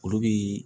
Olu bi